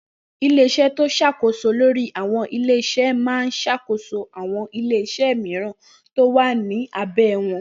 Ilé-iṣẹ́ tí ó ṣàkóso lórí àwọn ilé iṣẹ́ máa ń ṣàkóso àwọn ilé-iṣẹ́ mìíràn tí ó wà ní abé wọn.